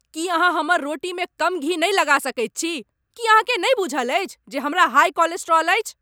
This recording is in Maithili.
की अहाँ हमर रोटीमे कम घी नहि लगा सकैत छी? की अहाँकेँ नहि बूझल अछि जे हमरा हाइ कोलेस्ट्रॉल अछि?